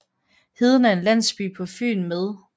Heden er en landsby på Fyn med